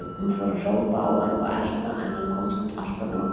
Hún fór að hrópa á hann og elta, en hann komst alltaf undan.